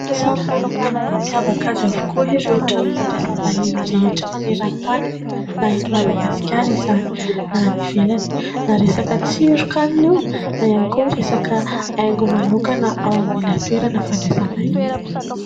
Samy manana ny mampiavaka azy avokoa ireo trano fandraisam-bahiny rehetra maneran-tany na eto Madagasikara izany na any ivelany na resaka tsiron-kanina io na resaka haingo manokana ao amin'ilay toerana fandraisam-bahiny.